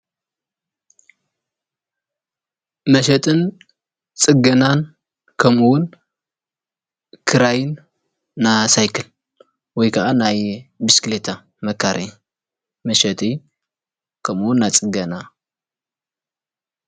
መሸጥን ፅገናን ከምውን ክራይን ናይ ሳይክል ወይ ከዓ ናይ ብሽክሌታ መካረይ መሸጢ ከምውን ና ፅገና፡፡